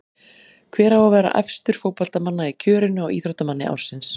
Hver á að vera efstur fótboltamanna í kjörinu á Íþróttamanni ársins?